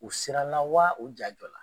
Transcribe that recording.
U sirala wa u ja jɔla?